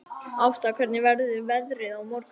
Ásta, hvernig verður veðrið á morgun?